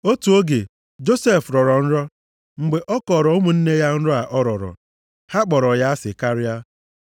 Otu oge, Josef rọrọ nrọ, mgbe ọ kọọrọ ụmụnne ya nrọ a ọ rọrọ, ha kpọrọ ya asị karịa.